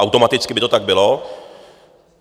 Automaticky by to tak bylo.